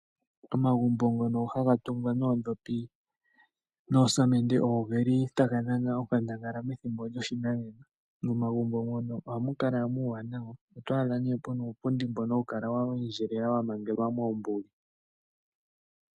Omagumbo ngono haga tungwa noondhopi noosamende ogeli taga dhana onkandangala methimbo lyoshinanena. Momagumbo mono ohamu kala muuwanawa oto adha nee mu na uupundi mbono wa endjelela wa mangelwa moombuli.